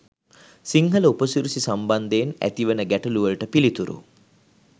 සිංහල උපසිරැසි සම්බන්ධයෙන් ඇතිවන ගැටළුවලට පිළිතුරු.